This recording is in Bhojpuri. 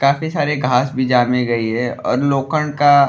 काफी सारे घास भी जामे गयी है और लोखंड का --